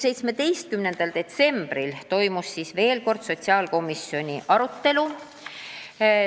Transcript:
17. detsembril toimus veel kord sotsiaalkomisjoni arutelu.